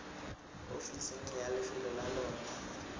ofiseng ya lefelo la lona